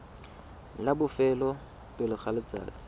la bofelo pele ga letsatsi